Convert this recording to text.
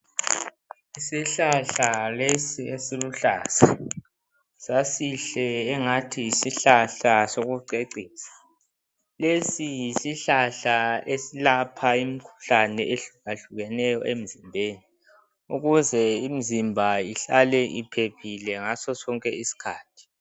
Isihlahla lesi esiluhlaza sasihle angathi yisihlahla sokucecisa lesi yisihlahla eselapha imikhuhlane ehlukahlukeneyo emzimbeni ukuze imzimba ihlale iphephile ngasosonke isikhathi.